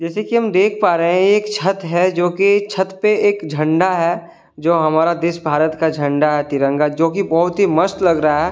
जैसे कि हम देख पा रहे हैं एक छत है जो कि छत पे एक झंडा है जो हमारा देश भारत का झंडा है तिरंगा जो कि बहुत ही मस्त लग रहा है।